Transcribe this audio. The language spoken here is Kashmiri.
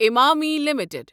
امامی لِمِٹٕڈ